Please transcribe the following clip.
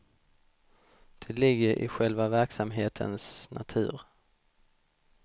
Det ligger i själva verksamhetens natur.